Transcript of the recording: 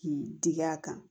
K'i digi a kan